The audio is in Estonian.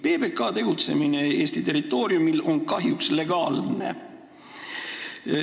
PBK tegutsemine Eesti territooriumil on kahjuks legaalne.